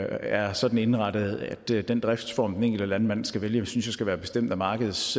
er sådan indrettet at den driftsform den enkelte landmand skal vælge synes jeg skal være bestemt af markedets